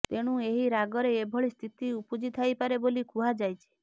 ତେଣୁ ଏହି ରାଗରେ ଏଭଳି ସ୍ଥିତି ଉପୁଜିଥାଇପାରେ ବୋଲି କୁହାଯାଇଛି